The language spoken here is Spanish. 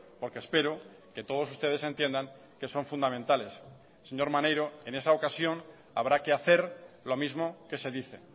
porque espero que todos ustedes entiendan que son fundamentales señor maneiro en esa ocasión habrá que hacer lo mismo que se dice